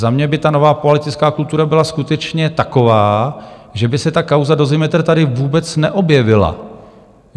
Za mě by ta nová politická kultura byla skutečně taková, že by se ta kauza Dozimetr tady vůbec neobjevila.